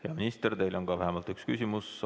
Hea minister, teile on ka vähemalt üks küsimus.